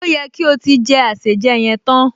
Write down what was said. Ó yẹ kí o ti jẹ àsèjẹ yẹn tán